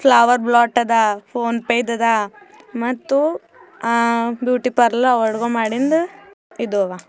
Flower blot ಅದಾ PhonePe ದಾದಾ ಮತ್ತು ಹ ಬ್ಯೂಟಿ ಪಾರ್ಲರ್ ಆರ್ಡರ್ ಮಾಡಿದ್ದು ಇದ. ಅವ.